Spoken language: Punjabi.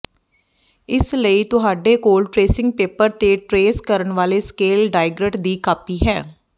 ਇਸ ਲਈ ਤੁਹਾਡੇ ਕੋਲ ਟਰੇਸਿੰਗ ਪੇਪਰ ਤੇ ਟਰੇਸ ਕਰਨ ਵਾਲੇ ਸਕੇਲ ਡਾਇਗ੍ਰਟ ਦੀ ਕਾਪੀ ਹੈ